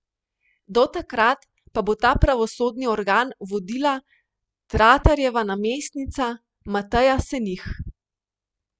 Do takrat pa bo ta pravosodni organ vodila Tratarjeva namestnica Mateja Senih.